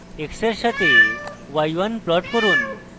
x এর সাথে y1 plot করুন